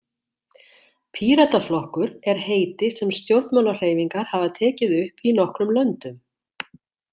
Pírataflokkur er heiti sem stjórnmálahreyfingar hafa tekið upp í nokkrum löndum.